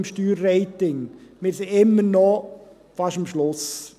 Wir sind immer noch fast am Schluss.